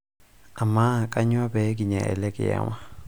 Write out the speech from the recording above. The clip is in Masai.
amaa kanyoo pee kinya ele kiama